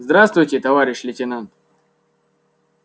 здравствуйте товарищ лейтенант